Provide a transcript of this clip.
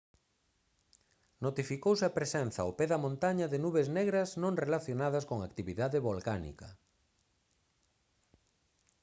notificouse a presenza ao pé da montaña de nubes negras non relacionadas con actividade volcánica